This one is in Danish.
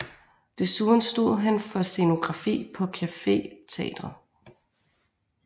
Desuden stod han for scenografi på Café Teatret